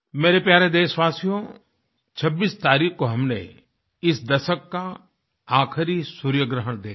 मेरे प्यारे देशवासियों 26 तारीख को हमने इस दशक का आख़िरी सूर्यग्रहण देखा